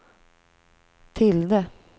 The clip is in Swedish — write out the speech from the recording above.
tilde